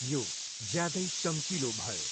यो ज्यादै चम्किलो भयो।